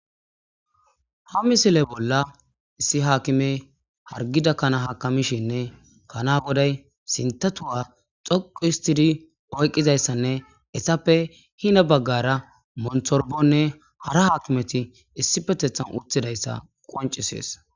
Ha misile bolla issi haakime hargida kana hakamishinne pana goday sintatuwa xoqu histidi oyqqizayssanne essappe hina baggara monthorbonne hara haakimeti issi pethhethan utidayssa qoncisees.